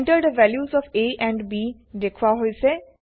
Enter the values of a and b দেখোৱা হৈছে